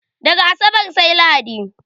Daga asabar sai lahadi